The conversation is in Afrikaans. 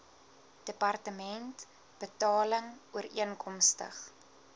departement betaling ooreenkomstig